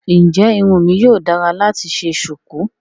Ǹjẹ́ irun mi yíò dára láti ṣe ṣùkú?